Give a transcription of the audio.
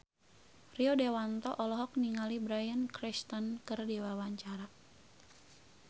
Rio Dewanto olohok ningali Bryan Cranston keur diwawancara